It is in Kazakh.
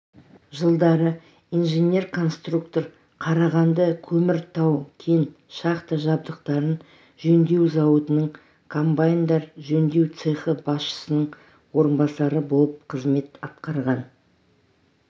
жылдары инженер-конструктор қарағандыкөмір тау-кен шахта жабдықтарын жөндеу зауытының комбайндар жөндеу цехы басшысының орынбасары болып қызмет атқарған